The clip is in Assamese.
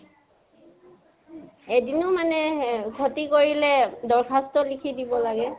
এদিনো মানে আ খতি কৰিলে, দৰ্খাস্ত লিখি দিব লাগে।